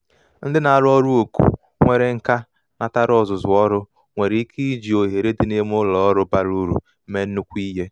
ndị na aru oru oku; nwere nka natara ọzụzụ ọrụ nwere ike iji ohere ike iji ohere dị n’ime ụlọ ọrụ bara uru mee nnukwu ihe